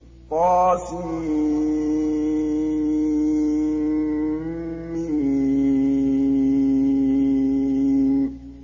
طسم